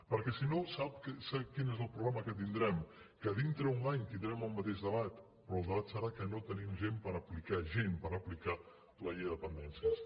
perquè si no sap quin és el problema que tindrem que dintre d’un any tindrem el mateix debat però el debat serà que no tenim gent per aplicar la llei de la dependència